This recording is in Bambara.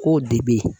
K'o de bɛ ye